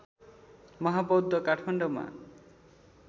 महाबौद्ध काठमाडौँमा